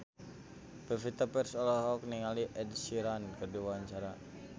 Pevita Pearce olohok ningali Ed Sheeran keur diwawancara